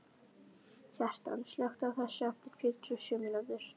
Kjartan, slökktu á þessu eftir fjörutíu og sjö mínútur.